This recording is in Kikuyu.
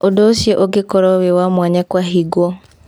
ũndũ ũcio ũngĩkorwo wĩ wa mwanya kũahingwo.